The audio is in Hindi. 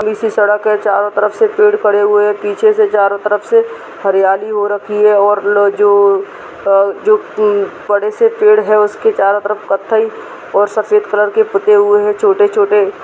सी सड़क है चारो तरफ से पड़े हुए है पीछे से चारो तरफ से हरियाली हो रखी है और वो जो की बडे से पेड़ है उसके चारो तरफ कथ्थई और सफेद कलर के हुए है छोटे छोटे।